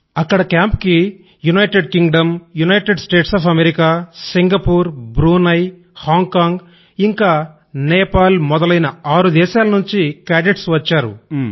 అక్కడ కేంప్ కి United Kingdom United States of America Singapore Hong Kong ఇంకా నేపాల్ మొదలైన ఆరు దేశాల నుండి కేడెట్స్ వచ్చారు